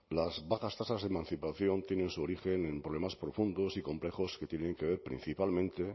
las bajas tasas de emancipación tienen su origen en problemas profundos y complejos que tienen que principalmente